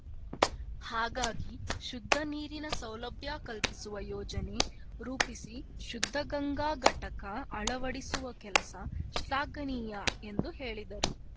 ಹಾಗಾಗಿ ಶುದ್ದ ನೀರಿನ ಸೌಲಭ್ಯ ಕಲ್ಪಿಸುವ ಯೋಜನೆ ರೂಪಿಸಿ ಶುದ್ದ ಗಂಗಾ ಘಟಕ ಅಳವಡಿಸುವ ಕೆಲಸ ಶ್ಲಾಘನೀಯ ಎಂದು ಹೇಳಿದರು